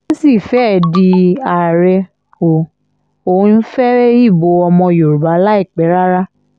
ó sì fẹ́ẹ̀ di àárẹ̀ o ò ń fẹ́ ìbò ọmọ yorùbá láìpẹ́ rárá